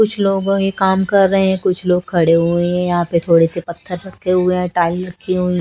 कुछ लोगों ये काम कर रहे हैं कुछ लोग खड़े हुए हैं यहां पे थोड़े से पत्थर रखे हुए टाइल रखी होईं--